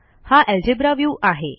हा algebra view आहे